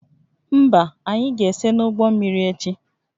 Mba, anyị ga-ese n'ụgbọ mmiri echi